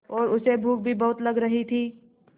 और उसे भूख भी बहुत लग रही थी